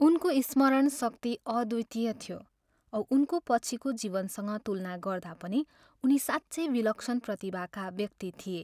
उनको स्मरण शक्ति अद्वितीय थियो औ उनको पछिको जीवनसँग तुलना गर्दा पनि उनी साँच्चै विलक्षण प्रतिभाका व्यक्ति थिए।